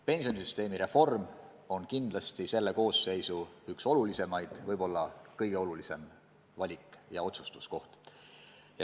Pensionisüsteemi reform on kindlasti selle koosseisu üks olulisimaid, võib-olla kõige olulisem valik ja otsustuskoht.